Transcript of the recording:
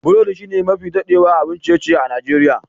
Burodi shine mafi dadewa abun ciye-ciye a Nijeriya.